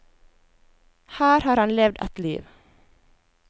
Her har han levd et liv.